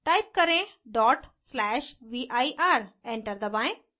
type करें: /vir enter दबाएं